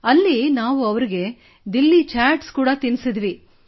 ಅಲ್ಲಿ ನಾವು ಅವರಿಗೆ ದಿಲ್ಲಿ ಚಾಟ್ಸ್ ಕೂಡಾ ತಿನ್ನಿಸಿದೆವು